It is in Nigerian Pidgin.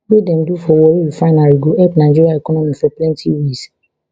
wey dem do for warri refinery go help nigeria economy for plenty ways